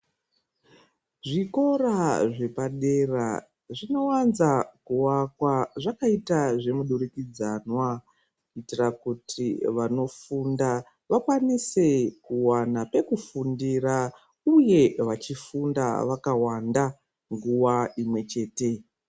Zvikora zvepadera zvinowanza kuvakwa zvakaita zvemudurikidzanwa kuitira kuti vanofunda vakwanise kuwana pekufundira uye vachifunda vakawanda nguwa inwechete.